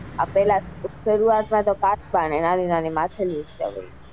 પેલા સરુઆત માં કાચબા ને નાની નાની માછલીઓ જ હતી.